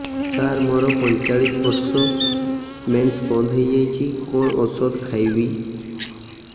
ସାର ମୋର ପଞ୍ଚଚାଳିଶି ବର୍ଷ ମେନ୍ସେସ ବନ୍ଦ ହେଇଯାଇଛି କଣ ଓଷଦ ଖାଇବି